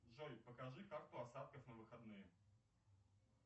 джой покажи карту осадков на выходные